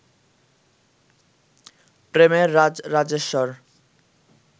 প্রেমের রাজরাজেশ্বর